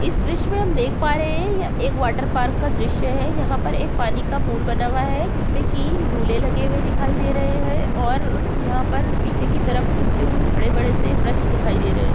इस दृश्य मे हम देख पा रहे हैं एक वाटर पार्क का दृश्य है। यहाँ पर एक पानी का पुल बना हुआ है जिसमे की झूले लगे हुए दिखाई दे रहे हैं और यहाँ पर पीछे की तरफ कुछ बड़े-बड़े से वृक्ष दिखाई दे रहे।